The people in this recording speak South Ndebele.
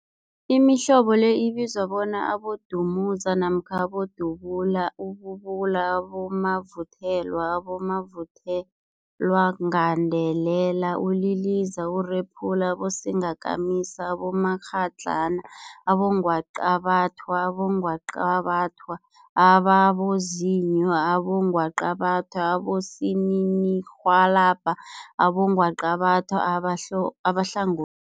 Imihlobo le ibizwa bona, abodumuza namkha abodubula, ububula, abomavuthelwa, abomavuthelwagandelela, uliliza, urephula, abosingakamisa, abomakghadlana, abongwaqabathwa, abongwaqabathwa ababozinyo, abongwaqabathwa abosininirhwalabha nabongwaqabatha abahlangothi.